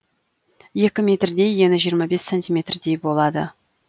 екі метрдей ені жиырма бес сантиметрдей болады